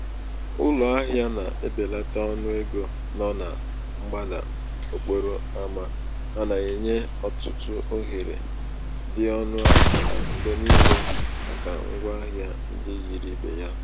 ụlọ ahịa na-ebelata ọnụ ego nọ na mgbada okporo ama a na-enye ọtụtụ ohere dị ọnụ ala mgbe niile maka ngwa ahịa ndị yiri ibe ha.